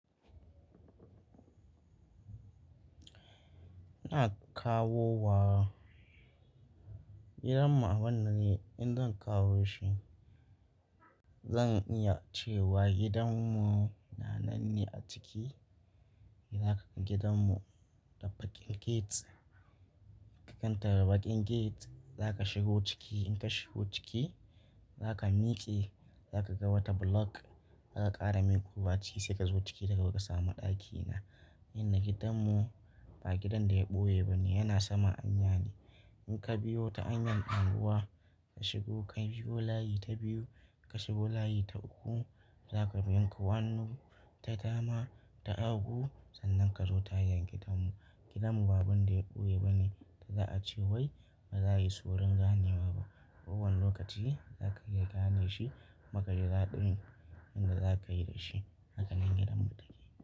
Ina kawowa. Gidanmu a wannan ne, in zan kawo shi zan iya cewa gidanmu nananne a ciki. Idan zaka gan gidanmu da bakin gate, ka kantar da bakin gate za ka shigo ciki. In ka shigo ciki za ka miƙe, za ka ga wata block aka ƙara miƙowa ciki sai ka zo ciki daga haka ka samu ɗakina. Inda gidanmu ba gidan da ya ɓoye ba ne, yana sama anya ne. In ka biyo ta anyan abubuwa ka shigo, ka biyo layi ta biyu, ka shigo layi ta uku za ka biya hanun ta dama ta uku sannan ka zo tayan gidanmu. Gidanmu ba abun da ya ɓoye ba ne da za a ce wai ba za a yi suran ganewa ba. Kowane lokaci zaka iya gane shi maka ji daɗin inda zakayi da shi. Hakanan gidanmu take.